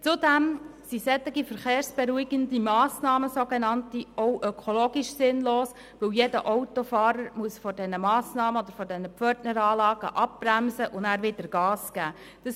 Zudem sind solche sogenannt verkehrsberuhigenden Massnahmen auch ökologisch sinnlos, weil jeder Autofahrer vor diesen Massnahmen oder diesen Pförtneranlagen abbremsen und anschliessend wieder Gas geben muss.